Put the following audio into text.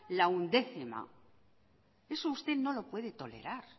la undécima eso usted no lo puede tolerar